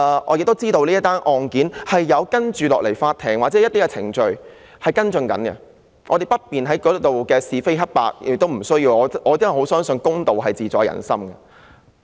我知道法庭也在跟進這宗案件，所以我們不便亦不需要在此討論是非黑白，因為我相信公道自在人心。